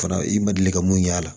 Fana i ma deli ka mun y'a la